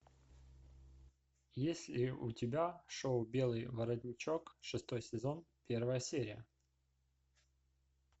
есть ли у тебя шоу белый воротничок шестой сезон первая серия